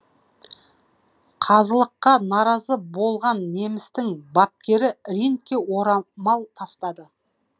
қазылыққа наразы болған немістің бапкері рингке орамал тастады